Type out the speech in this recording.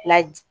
La